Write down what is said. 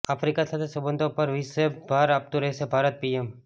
Africa સાથે સંબંધો પર વિશેભ ભાર આપતું રહેશે ભારતઃ પીએમ